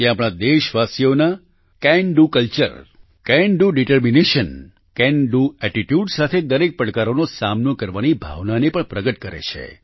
તે આપણા દેશવાસીઓના can do culture can do determination can do attitude સાથે દરેક પડકારનો સામનો કરવાની ભાવનાને પણ પ્રગટ કરે છે